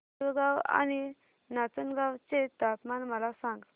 पुलगांव आणि नाचनगांव चे तापमान मला सांग